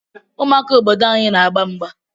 Ụmụaka obodo anyị n'agba mgba.